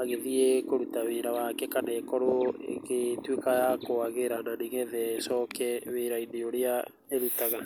agĩthiĩ kũruta wĩra wake kana ĩkorwo ĩgĩtũika ya kũagĩra na ni getha ĩcoke wira-ĩnĩ ũrĩa ĩrutaga.